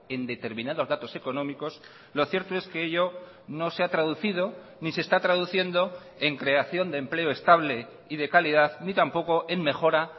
en determinados datos económicos lo cierto es que ello no se ha traducido ni se está traduciendo en creación de empleo estable y de calidad ni tampoco en mejora